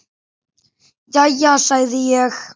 Jæja, sagði ég.